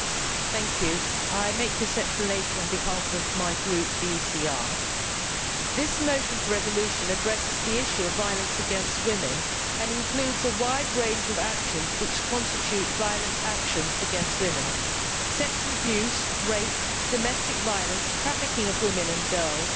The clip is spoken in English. Madam President, I make this explanation on behalf of my Group, the ECR Group. This motion for a resolution addresses the issue of violence against women and includes a wide range of actions which constitute violent actions against women sexual abuse, rape, domestic violence, trafficking of women and girls,